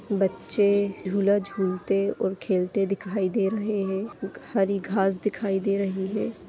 बच्चे झूला झूलते और खेलते दिखाई दे रहे है खूब सारी घास दिखाई दे रही है।